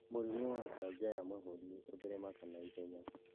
Mũrimũ wa kanja ya mahũri ũtheremaga na ihenya